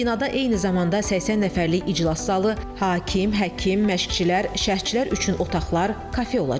Binada eyni zamanda 80 nəfərlik iclas zalı, hakim, həkim, məşqçilər, şərhçilər üçün otaqlar, kafe olacaq.